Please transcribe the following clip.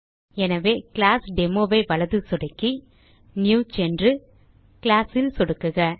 எனவே ClassDemoஐ வலது சொடுக்கி நியூ சென்று Classல் சொடுக்குக